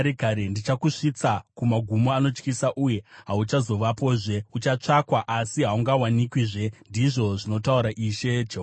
Ndichakusvitsa kumagumo anotyisa uye hauchazovapozve. Uchatsvakwa, asi haungawanikwizve, ndizvo zvinotaura Ishe Jehovha.”